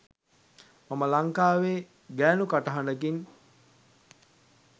මම ලංකාවේ ගෑනු කටහඬකින්